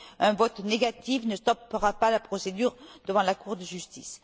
Un vote négatif ne stoppera pas la procédure devant la Cour de justice.